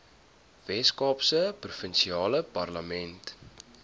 weskaapse provinsiale parlement